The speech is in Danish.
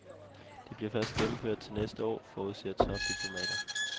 Det bliver først gennemført til næste år , forudser topdiplomater.